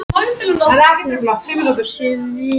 Þessi viti lýsir þar dag og nótt allan ársins hring.